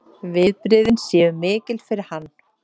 Viðbrigðin séu mikil fyrir hann